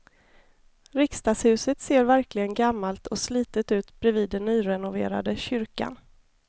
Riksdagshuset ser verkligen gammalt och slitet ut bredvid den nyrenoverade kyrkan.